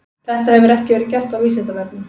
Þetta hefur ekki verið gert á Vísindavefnum.